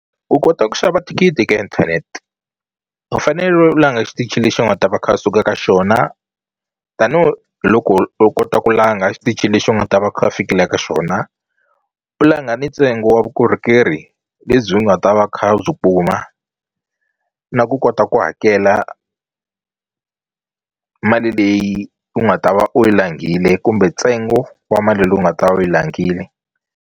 U kota ku xava thikithi ka inthanete u fanele u langa xitichi lexi u nga ta va kha a suka ka xona tanihiloko u kota ku langa xitichini lexi u nga ta va kha u fikila ka xona u langa ni ntsengo wa vukorhokeri lebyi u nga ta va kha u byi kuma na ku kota ku hakela mali leyi u nga ta va u yi langile kumbe ntsengo wa mali leyi u nga ta u yi langile.